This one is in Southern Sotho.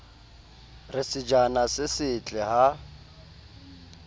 re sejana se setle ha